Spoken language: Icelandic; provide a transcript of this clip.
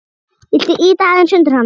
Viltu ýta aðeins undir hana?